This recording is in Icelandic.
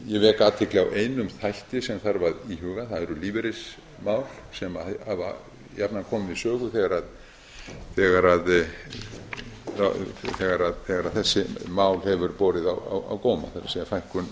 ég vek athygli á einum þætti sem þarf að íhuga það eru lífeyrismál sem hafa jafnan komið við sögu þegar þessi mál hefur borið á góma það